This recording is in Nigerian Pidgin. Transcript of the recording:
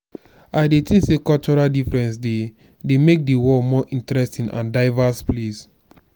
i dey think say cultural differences dey dey make di world more interesting and diverse place.